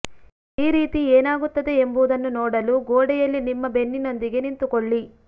ಈ ರೀತಿ ಏನಾಗುತ್ತದೆ ಎಂಬುದನ್ನು ನೋಡಲು ಗೋಡೆಯಲ್ಲಿ ನಿಮ್ಮ ಬೆನ್ನಿನೊಂದಿಗೆ ನಿಂತುಕೊಳ್ಳಿ